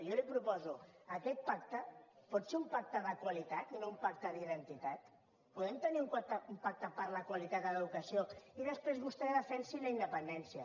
jo li proposo aquest pacte pot ser un pacte de qualitat i no un pacte d’identitat podem tenir un pacte per la qualitat de l’educació i després vostè defensi la independència